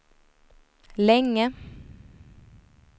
länge